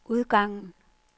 udgangen